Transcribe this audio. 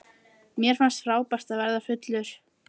Mér fannst frábært að verða fullur.